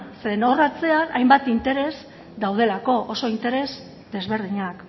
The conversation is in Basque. zeren hor atzean hainbat interes daudelako oso interes desberdinak